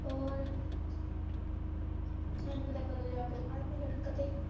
ਹੋਰ, ਇਹ ਨੀ ਪਤਾ ਕਦੋ ਜਾ ਕੇ ਸ਼ੜਕ ਤੇ,